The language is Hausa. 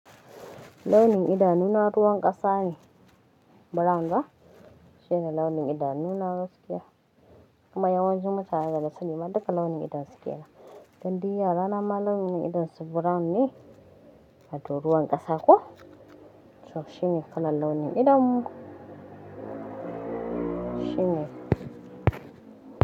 Launi idanun ruwan ƙasa ne brown ba? Shine launi idanunawa gaskiya Kuma yawancin mutane da sani ma duka launin idonsu kenan Dan diyya rana ma launin idonsu brown ne, wato ruwan ƙasa ko so shine kalar launin idonmu. Shine.